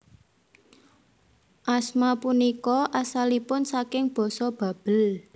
Asma punika asalipun saking basa Babel